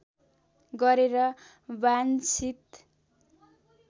गरेर वाञ्छित